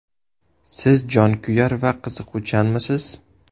Siz jonkuyar va qiziquvchanmisiz?